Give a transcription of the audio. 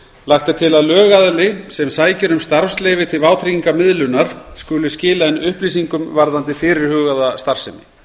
lagt er til að lögaðili sem sækir um starfsleyfi til vátryggingamiðlunar skuli skila inn upplýsingum varðandi fyrirhugaða starfsemi